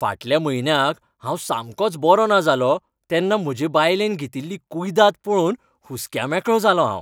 फाटल्या म्हयन्याक हांव सामकोच बरो ना जालों तेन्ना म्हजे बायलेन घेतिल्ली कुयदाद पळोवन हुस्क्यामेकळों जालों हांव.